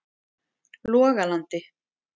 Logalandi